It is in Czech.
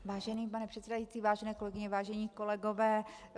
Vážený pane předsedající, vážené kolegyně, vážení kolegové.